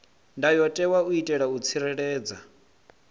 ndayotewa u itela u tsireledza